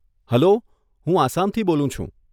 Hello, હું આસામથી બોલું છું.